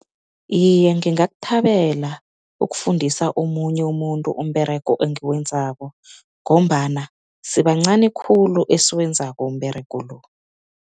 Iye, ngingakuthabela ukufundisa omunye umuntu umberego engiwenzako ngombana sibancani khulu esikwenzako umberego lo.